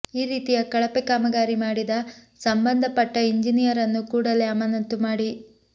ಈ ರೀತಿಯ ಕಳಪೆ ಕಾಮಗಾರಿ ಮಾಡಿದ ಸಂಬಂದಪಟ್ಟ ಇಂಜಿನಿಯರನ್ನು ಕೂಡಲೇ ಅಮಾನತು ಮಾಡಿ